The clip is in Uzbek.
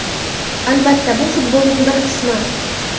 Albatta, bu futbolning bir qismi.